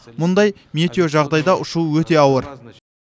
мұндай метеожағдайда ұшу өте ауыр